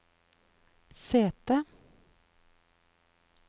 sete